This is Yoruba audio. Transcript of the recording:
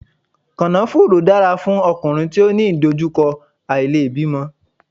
Kànáfùrú dára fún ọkùnrin tí ó ní ìdojúkọ àìlèbímọ.